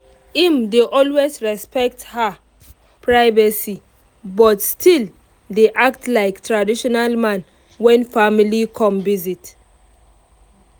im dey always respect her privacy but still dey act like traditional man when family come visit